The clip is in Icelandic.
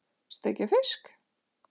Steikja fisk?